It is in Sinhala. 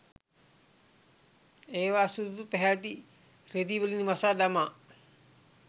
ඒවා සුදු පැහැති රෙදිවලින් වසා දමා